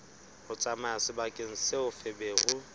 ho tsamaya sebakeng seo feberu